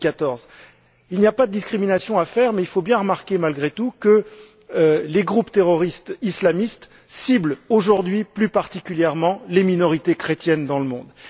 2014. Il n'y a pas de discrimination à faire, mais il faut bien remarquer malgré tout que les groupes terroristes islamistes ciblent aujourd'hui plus particulièrement les minorités chrétiennes dans le monde.